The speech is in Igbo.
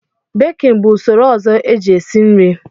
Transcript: Bekin bụ usoro ọzọ e ji e si nri.